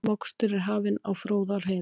Mokstur er hafinn á Fróðárheiði